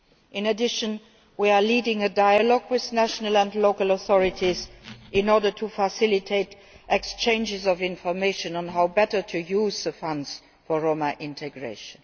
In addition we are leading a dialogue with national and local authorities in order to facilitate exchanges of information on how better to use the funds for Roma integration.